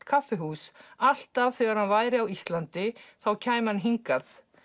kaffihús alltaf þegar hann væri á Ísland þá kæmi hann hingað